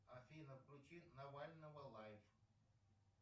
афина включи навального лайф